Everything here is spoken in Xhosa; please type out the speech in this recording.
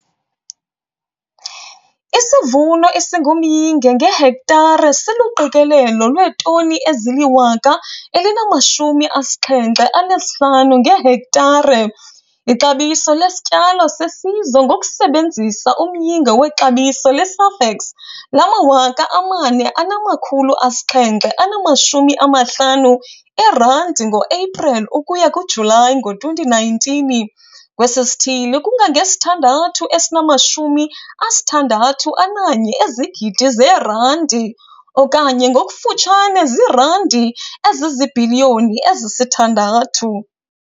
Isivuno esingumyinge ngehektare siluqikelelo lweetoni ezi-1075 ngehektare. Ixabiso lesityalo sesizwe ngokusebenzisa umyinge wexabiso leSafex lama-R4 750 ngoEpreli ukuya kuJulayi ngo-2019 kwesi sithili kungange-R6 061 000 000 okanye ngokufutshane ziirandi eziziibhiliyoni ezi-6.